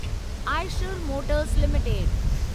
Eicher motors limited